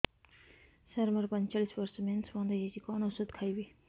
ସାର ମୋର ପଞ୍ଚଚାଳିଶି ବର୍ଷ ମେନ୍ସେସ ବନ୍ଦ ହେଇଯାଇଛି କଣ ଓଷଦ ଖାଇବି